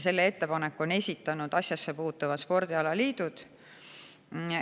Selle ettepaneku on esitanud asjasse puutuvad spordialaliidud.